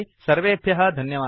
सर्वेभ्यः धन्यवादः